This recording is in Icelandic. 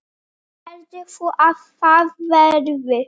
Heldur þú að það verði?